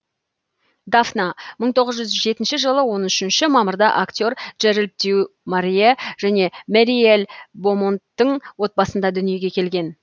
дафна мың тоғыз жүз жетінші жылы он үш мамырда актер джеральд дю морье және мэриел бомонттың отбасында дүниеге келген